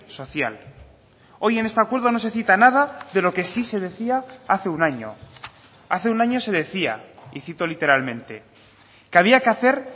social hoy en este acuerdo no se cita nada de lo que sí se decía hace un año hace un año se decía y cito literalmente que había que hacer